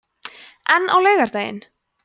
en á laugardaginn